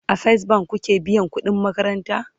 a first bank kuke biyan ƙuɗin makaranta?